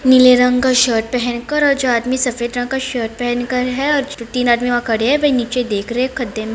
नीले रंग का शर्ट पहन कर ओर जो आदमी सफ़ेद रंग का शर्ट पहन कर है और तीन आदमी वह खड़े है वहा नीचे देख रहे है खड़े में।